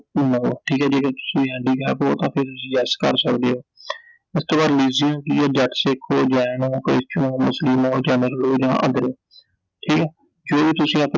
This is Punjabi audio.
ਠੀਕ ਐ ਜੇ ਤਾਂ ਤੁਸੀਂ handicapped ਓ ਤਾਂ ਤੁਸੀਂ yes ਕਰ ਸਕਦੇ ਓ I ਇਸ ਤੋਂ ਬਾਅਦ religion ਕਿ ਐ ਜੱਟ ਸਿੱਖ ਓ, ਜੈਨ ਓ, christian ਓ, ਮੁਸਲਿਮ ਓ ਜਾਂ other, ਠੀਕ ਐ I ਜੋ ਤੁਸੀਂ ਆਪਣੇ ਸਿੱਖ ਜਾਤੀ ਨਾਲ ਸੰਬੰਧ ਰੱਖਦੇ ਓ ਤਾਂ ਸਿੱਖ ਭਰ ਸਕਦੇ ਓI